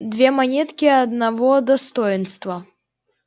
две монетки одного достоинства